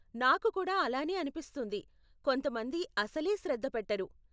నాకు కూడా అలానే అనిపిస్తుంది, కొంతమంది అసలే శ్రద్ధ పెట్టరు.